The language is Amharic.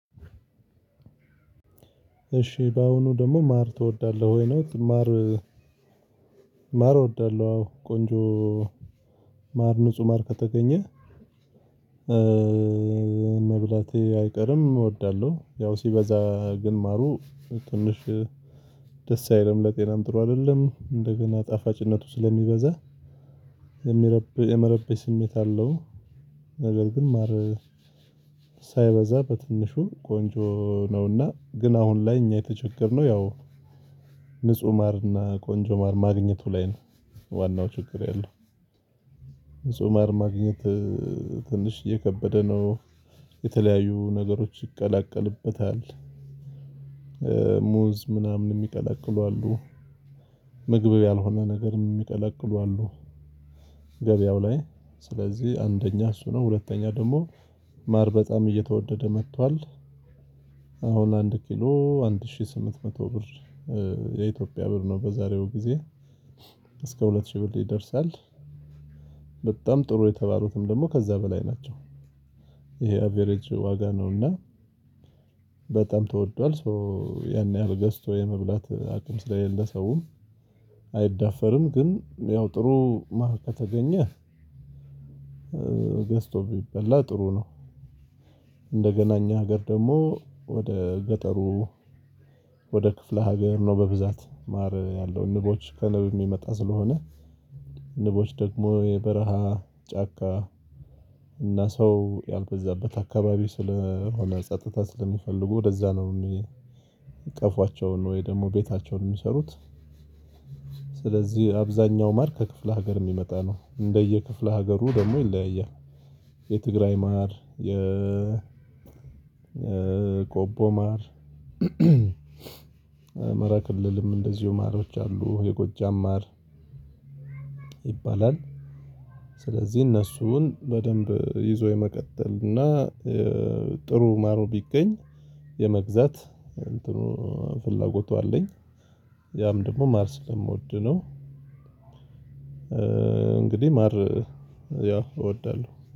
እሺ በአሁኑ ደግሞ ማር ትወዳለህ ወይ? ነው ማር ማር እወዳለሁ አዎ ቆንጆ ማር ንጹህ ማር ከተገኘ መብላቴ አይቀርም እወዳለሁ። ያው ሲበዛ ግን ማሩ ትንሽ ደስ አይልም ለጤናም ጥሩ አይደለም። እንደገና ጣፋጭነቱ ስለሚበዛ የመረበሽ የመረበሽ ስሜት አለው ነገር ግን ማር ሳይበዛ በትንሹ ቆንጆ ነውና ግን አሁን ላይ እኛ የተቸገርነው ያው ንጹህ ማርና ቆንጆ ማር ማግኘቱ ላይ ነው። ዋናው ችግር ያለው ንጹህ ማር ማግኘት ትንሽ እየከበደ ነው። የተለያዩ ነገሮች ይቀላቀልበታል ሙዝ ምናምን የሚቀላቅሉ አሉ። ምግብ ያልሆነ ነገር የሚቀለቅሉ አሉ። ገበያው ላይ ስለዚህ አንደኛ እሱ ነው ሁለተኛ ደግሞ ማር በጣም እየተወደደ መጥቷል። አሁን አንድ ኪሎ አንድ ሺህ ስምንት መቶ ብር የኢትዮጵያ ብር ነው በዛሬው ጊዜ እስከ ሁለት ሺህ ብር ይደርሳል። በጣም ጥሩ የተባሉትም ደግሞ ከዛ በላይ ናቸው። ይሄ አቬሪጅ ዋጋ ነው እና በጣም ተወዷል ሶ ያን ያህል ገዝቶ የመብላት አቅም ስለሌለው ሰውም አይዳፈርም። ግን ያው ጥሩ ማርያም ከተገኘ ገዝቶ ቢበላ ጥሩ ነው። እንደገና እኛ ሀገር ደግሞ ወደ ገጠሩ ወደ ክፍለ ሀገር ነው በብዛት ማር ያለው ንቦች ከንብ የሚመጣ ስለሆነ ንቦች ደግሞ የበረሃ ጫካ እና ሰው ያልበዛበት አካባቢ ስለሆነ ጸጥታ ስለሚፈልጉ ወደዛ ነው ቀፏቸውን ወይም ደግሞ ቤታቸውን የሚሰሩት ስለዚህ አብዛኛው ማር ከክፍለ ሀገር የሚመጣ ነው እንደየ ክፍለ ሀገሩ ደግሞ ይለያያል። የትግራይ ማር የ የቆቦ ማር አማራ ክልልም እንደዚሁ ማሮች አሉ የጎጃም ማር ይባላል። ስለዚህ እነሱን በደንብ ይዞ የመቀጠል እና ጥሩ ማር ቢገኝ የመግዛት እንትኑ ፍላጎቱ አለኝ። ያም ደግሞ ማር ስለምወድ ነው። እንግዲህ ማር ያው እወዳለሁ።